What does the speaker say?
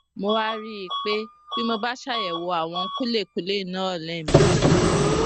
mo wá rí i pé tí mo bá ṣàyèwò àwọn kúlèkúlè náà léèmejì